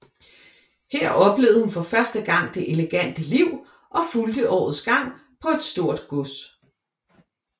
Her oplevede hun for første gang det elegante liv og fulgte årets gang på et stort gods